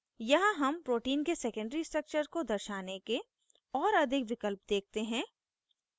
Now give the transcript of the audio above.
यहाँ हम protein के secondary structure को दर्शाने के और अधिक विकल्प देखते हैं